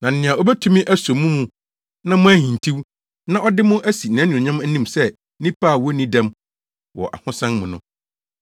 Na nea obetumi aso mo mu na moanhintiw, na ɔde mo asi nʼanuonyam anim sɛ nnipa a wonni dɛm wɔ ahosan mu no,